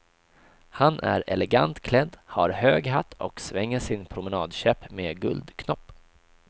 Han är elegant klädd, har hög hatt och svänger sin promenadkäpp med guldknopp.